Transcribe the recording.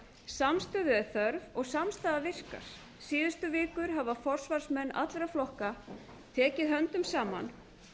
samstöðu er þörf og samstaða virkar síðustu vikur hafa forsvarsmenn allra flokka tekið höndum saman